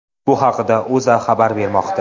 Bu haqida O‘zA xabar bermoqda .